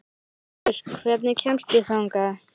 Vöggur, hvernig kemst ég þangað?